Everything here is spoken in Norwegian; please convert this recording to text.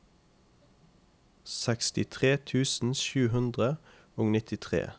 sekstitre tusen sju hundre og nittitre